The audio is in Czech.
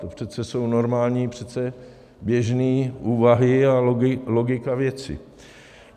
To přece jsou normální, přece běžné úvahy a logika věci.